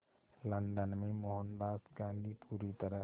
London में मोहनदास गांधी पूरी तरह